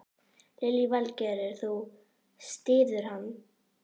Lillý Valgerður: Þú styður hann?